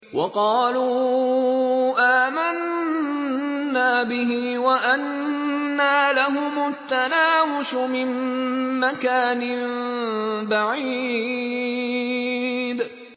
وَقَالُوا آمَنَّا بِهِ وَأَنَّىٰ لَهُمُ التَّنَاوُشُ مِن مَّكَانٍ بَعِيدٍ